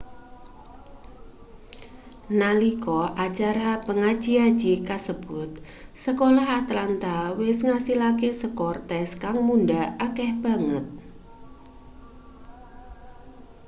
nalika acara pangaji-aji kasebut sekolah atlanta wis ngasilake skor tes kang mundhak akeh banget